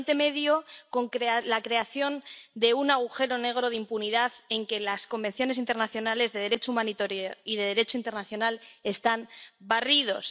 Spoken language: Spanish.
En Oriente Medio, con la creación de un agujero negro de impunidad en el que los convenios internacionales de Derecho humanitario y de Derecho internacional están barridos.